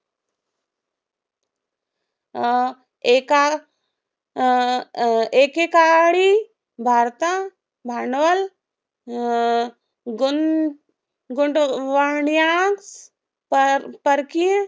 एका अं अं एकेकाळी भारता भांडवल अं गुंत गुंतवाण्या पर परकीय